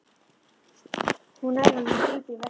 Hún nær honum og grípur í veskið.